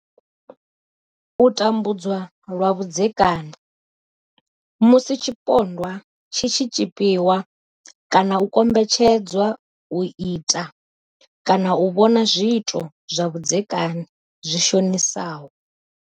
U tambudzwa lwa vhudzeka ni. Musi tshipondwa tshi tshi tshipiwa kana u kombetshedzwa u ita kana u vhona zwiito zwa vhudzekani zwi shonisaho.